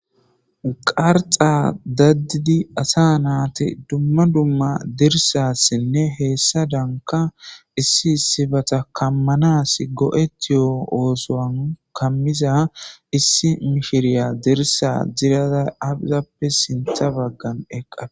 Qarxa dadidii asa natti dumma dumma disasinne hessadan issi issibatta kamanas go'oetiyo oosan kaamiza issi mishiriya dirssa ajjirada aape sinththa baggan eeqadus.